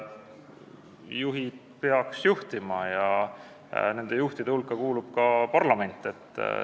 Juhid peaks juhtima ja nende juhtide hulka kuulub ka parlament.